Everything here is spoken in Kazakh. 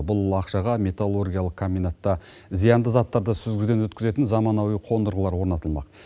бұл ақшаға металлургиялық комбинатта зиянды заттарды сүзгіден өткізетін заманауи қондырғылар орнатылмақ